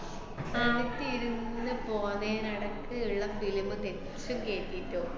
ആഹ് ഈ film മില് പോലെ നടക്ക് ഇള്ള film കേറ്റീട്ടോ